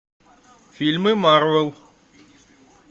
фильмы марвел